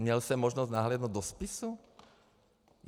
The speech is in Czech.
Měl jsem možnost nahlédnout do spisu?